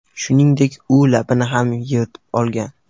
Shuningdek, u labini ham yirtib olgan.